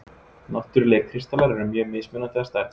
Náttúrlegir kristallar eru mjög mismunandi að stærð.